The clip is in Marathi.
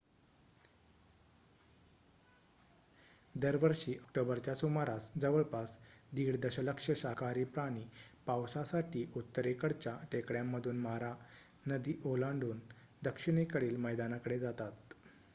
दरवर्षी ऑक्टोबरच्या सुमारास जवळपास 1.5 दशलक्ष शाकाहारी प्राणी पावसासाठी उत्तरेकडच्या टेकड्यांमधून मारा नदी ओलांडून दक्षिणेकडील मैदानाकडे जातात